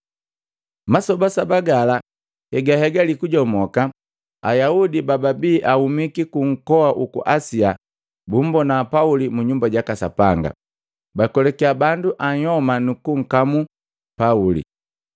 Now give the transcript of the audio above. Masoba saba gala hegahegali kujomoka, Ayaudi bababi ahumiki ku nkoa uku Asia bumbona Pauli mu Nyumba jaka Sapanga. Bakwelakiya bandu ayoma nukunkamu Pauli.